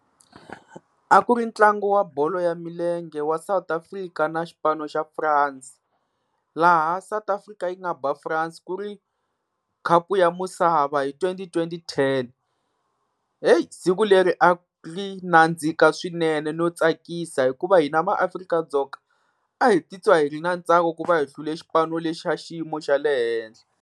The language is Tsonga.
A ku ri ntlangu wa bolo ya milenge wa South Africa na xipano xa France, laha South Africa yi nga ba France ku ri khapu ya misava hi twenty twenty ten. Heyi siku leri a ri nandzika swinene no tsakisa, hikuva hina maAfrika-Dzonga a hi titwa hi ri na ntsako ku va hi hlule xipano lexi xa xiyimo xa le henhla.